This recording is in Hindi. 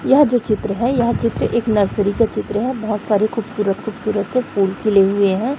यह जो चित्र है यह चित्र एक नर्सरी का चित्र है बहुत सारी खूबसूरत खूबसूरत से फूल खिले हुए है।